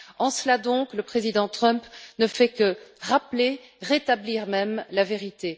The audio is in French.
En cela donc, le président Trump ne fait que rappeler, rétablir même la vérité.